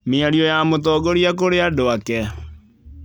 Mĩario ya mũtongoria kũrĩ andũ ake.